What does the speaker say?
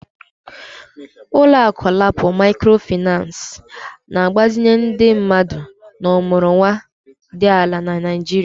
Ụlọ akụ LAPO Maịkrofịnancị na-agbazinye ndị mmadụ na ọmụrụnwa dị ala na Nigeria